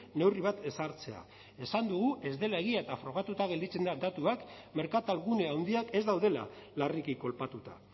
neurri bat ezartzea esan dugu ez dela egia eta frogatuta gelditzen da datuak merkatalgune handiak ez daudela larriki kolpatuta